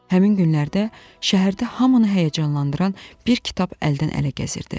Həmin günlərdə şəhərdə hamını həyəcanlandıran bir kitab əldən-ələ gəzirdi.